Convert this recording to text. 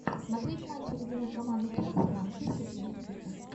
смотреть матчи любимой команды челси в английской премьер лиги